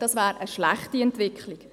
Dies wäre eine schlechte Entwicklung.